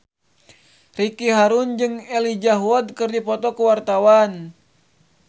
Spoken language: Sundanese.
Ricky Harun jeung Elijah Wood keur dipoto ku wartawan